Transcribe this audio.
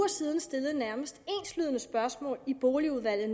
siden stillede et nærmest enslydende spørgsmål i boligudvalget